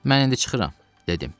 Mən indi çıxıram, dedim.